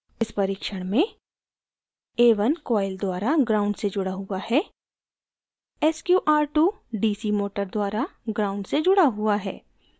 इस परीक्षण में